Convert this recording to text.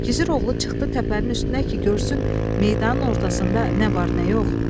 Gizir oğlu çıxdı təpənin üstünə ki görsün meydanın ortasında nə var, nə yox.